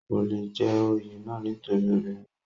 kò le jẹ́ oyè náà nítorí obìnrin ni